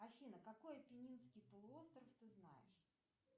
афина какой апеннинский полуостров ты знаешь